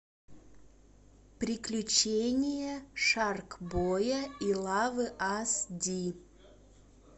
приключения шарк боя и лавы ас ди